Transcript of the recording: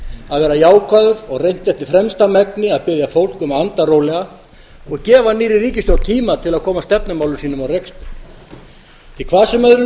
að vera jákvæður og reynt eftir fremsta megni að biðja fólk um að anda rólega og gefa nýrri ríkisstjórn eiga til að koma stefnumálum sínum á rekspöl því hvað sem öðru